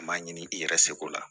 A m'a ɲini i yɛrɛ seko la